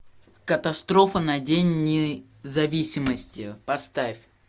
катастрофа на день независимости поставь